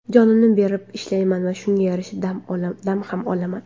Jonimni berib ishlayman va shunga yarasha dam ham olaman.